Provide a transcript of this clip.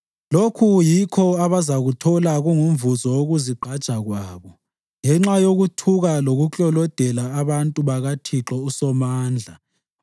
Lokhu yikho abazakuthola kungumvuzo wokuzigqaja kwabo, ngenxa yokuthuka lokuklolodela abantu bakaThixo uSomandla.